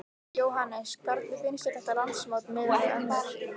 Jóhannes: Hvernig finnst þér þetta landsmót miðað við önnur?